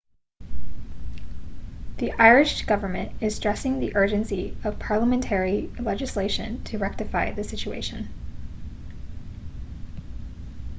the irish government is stressing the urgency of parliamentary legislation to rectify the situation